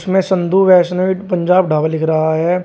मे संधू वैष्णो पंजाब ढाबा लिख रहा है।